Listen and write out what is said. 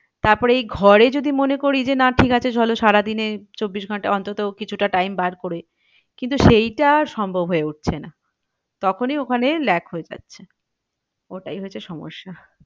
তারপরে এই ঘরে যদি মনে করি যে না ঠিক আছে চলো সারা দিনে চব্বিশ ঘন্টা অন্তত কিছুটা time বার করে। কিন্তু সেইটা আর সম্ভব হয়ে উঠছে না তখনই ওখানে ল্যাগ হয়ে যাচ্ছে। ওটাই হয়েছে সমস্যা।